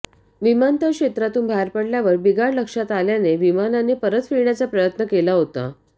विमानतळ क्षेत्रातून बाहेर पडल्यावर बिघाड लक्षात आल्याने विमानाने परत फिरण्याचा प्रयत्न केला होता